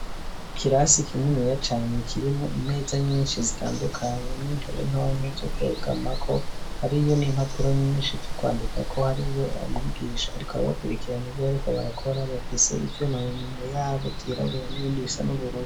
Ikirasi kininiya cane kirimwo imeza nyinshi zitandukanye n'intebe ntonto zo kwegamako hariyo n'impapuro nyinshi zo kwandikako hariyo n'umwigisha ariko arabakwirikirana ivyo bariko barakora bafise ivyuma mu minwe yabo vyirabura n'ibindi bisa n'ubururu.